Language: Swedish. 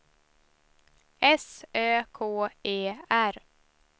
S Ö K E R